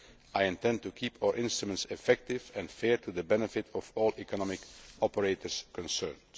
I intend to keep our instruments effective and fair, for the benefit of all the economic operators concerned.